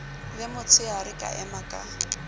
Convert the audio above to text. le motsheare ka ema ka